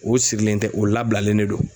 O sigilen tɛ o labilalen de do.